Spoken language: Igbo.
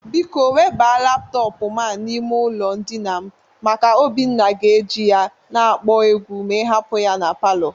Biko weba laptọpụ a n'ime ụlọ ndịna m maka Obinna ga-eje ya na-akpọ egwu ma ị hapụ ya na palọ.